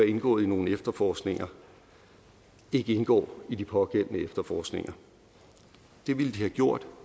indgået i nogle efterforskninger ikke indgår i de pågældende efterforskninger det ville de have gjort